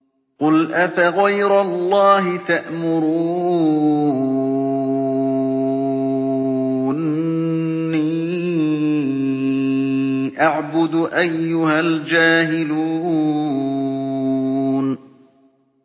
قُلْ أَفَغَيْرَ اللَّهِ تَأْمُرُونِّي أَعْبُدُ أَيُّهَا الْجَاهِلُونَ